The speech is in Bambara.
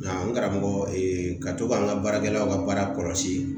Nga n karamɔgɔ ka to ka n ka baarakɛlaw ka baara kɔlɔsi